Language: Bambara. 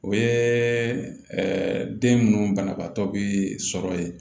O ye den munnu banabaatɔ be sɔrɔ ye